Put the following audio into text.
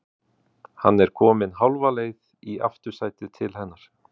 Hann er kominn hálfa leið í aftursætið til hennar.